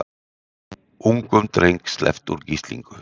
Ungum dreng sleppt úr gíslingu